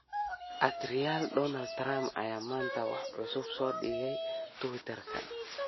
at realdonaldtrump ayaa maanta wax cusub soo dhigay twitter-ka